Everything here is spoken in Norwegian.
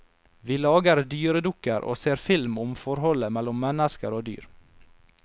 Vi lager dyredukker og ser film om forholdet mellom mennesker og dyr.